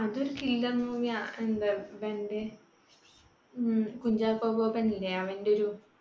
അതൊരു killer movie യാ എന്താ ഇവന്റെ കുഞ്ചാക്കോ ബോബൻ ഇല്ലേ അവന്റെയൊരു